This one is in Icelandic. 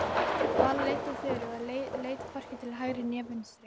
Vala leiddi Þuru og leit hvorki til hægri né vinstri.